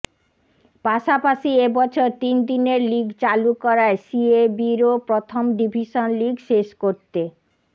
পাশাপাশি এবছর তিন দিনের লিগ চালু করায় সিএবিরও প্রথম ডিভিসন লিগ শেষ করতে